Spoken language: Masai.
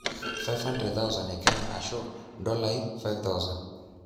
500,000 e Kenya ashu ndolai 5,000